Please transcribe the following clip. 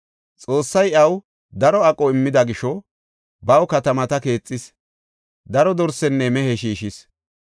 Xoossay iyaw daro aqo immida gisho baw katamata keexis; daro dorsenne mehe shiishis.